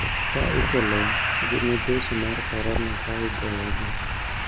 Ma ikelo gi midhusi mar korona ka igoyo gi